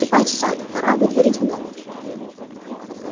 ступай в сад пора выдворить гномов